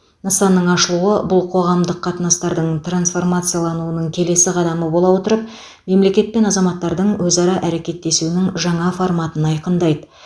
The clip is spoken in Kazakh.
нысанның ашылуы бұл қоғамдық қатынастардың трансформациялануының келесі қадамы бола отырып мемлекет пен азаматтардың өзара әрекеттесуінің жаңа форматын айқындайды